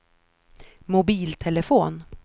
mobiltelefon